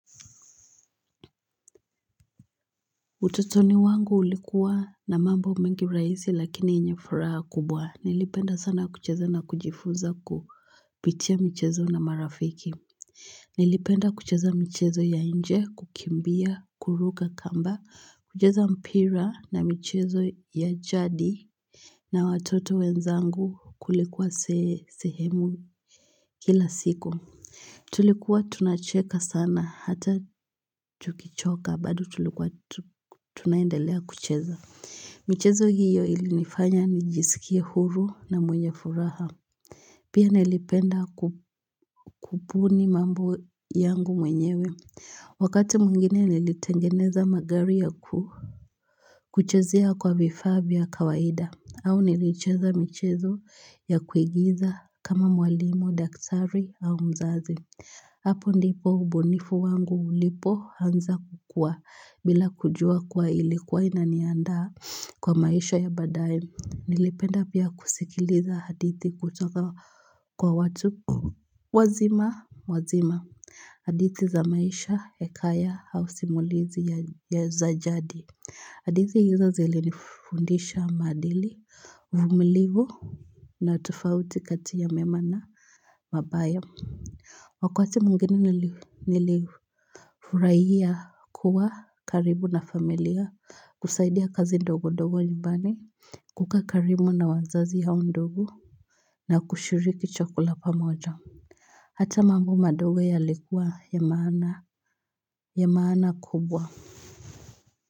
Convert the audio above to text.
Utotoni wangu ulikuwa na mambo mengi rahisi lakini yenye furaha kubwa. Nilipenda sana kucheza na kujifunza kupitia michezo na marafiki. Nilipenda kucheza michezo ya nje, kukimbia, kuruka kamba, kucheza mpira na michezo ya jadi. Na watoto wenzangu kulikuwa sehemu kila siku. Tulikuwa tunacheka sana hata tukichoka bado tulikuwa tunaendelea kucheza. Michezo hiyo ilinifanya nijisikie huru na mwenye furaha. Pia nilipenda kubuni mambu yangu mwenyewe. Wakati mwingine nilitengeneza magari ya ku. Kuchezea kwa vifaavya kawaida. Au nilicheza michezo ya kuigiza kama mwalimu, daktari au mzazi. Hapo ndipo ubunifu wangu ulipo anza kukua. Bila kujua kuwa ilikuwa inaniandaa kwa maisha ya baadaye. Nilipenda pia kusikiliza hadithi kutoka kwa watu wazima wazima hadithi za maisha, hekaya, au simulizi ya za jadi hadithi hizo zili nifundisha maadili, uvumilivu na tofauti kati ya mema na mabaya Wakati mwingine nilifurahia kuwa karibu na familia kusaidia kazi ndogo ndogo nyumbani kukaa karibu na wazazi au ndogo na kushiriki chakula pamoja Hata mambo madogo ya likuwa ya maana ya maana kubwa.